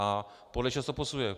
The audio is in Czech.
A podle čeho se to posuzuje?